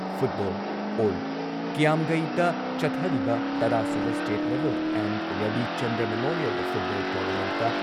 football all ꯀ꯭ꯌꯥꯝꯒꯩꯗ ꯆꯠꯊꯔꯤꯕ ꯇꯔꯥꯁꯨꯕ state level M. Rabichandra memorial football ꯇꯣꯔꯅꯥꯃꯦꯟꯠꯇ